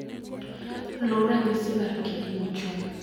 Luw ranyisi mar kidi mochung'